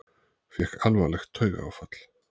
Fékk alvarlegt taugaáfall